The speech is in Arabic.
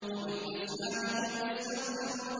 وَبِالْأَسْحَارِ هُمْ يَسْتَغْفِرُونَ